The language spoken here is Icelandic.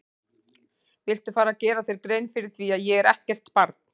Viltu fara að gera þér grein fyrir því að ég er ekkert barn!